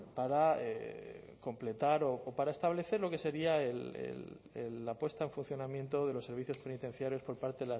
para completar o para establecer lo que sería la puesta en funcionamiento de los servicios penitenciarios por parte